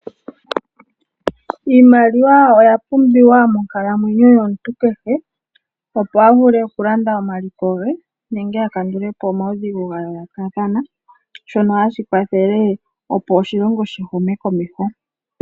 Iimaliwa oya pumbiwa monkalamwenyo yomuntu kehe, opo a vule okulanda omaliko ge nenge a kandule po omaudhigu ga yoolokathana , shono hashi kwathele opo oshilongo shi hume komeho.